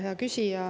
Hea küsija!